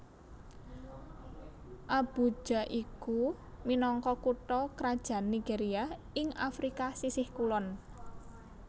Abuja iku minangka kutha krajan Nigeria ing Afrika sisih kulon